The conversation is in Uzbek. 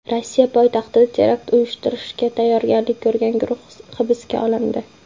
Rossiya poytaxtida terakt uyushtirishga tayyorgarlik ko‘rgan guruh hibsga olindi.